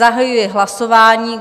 Zahajuji hlasování.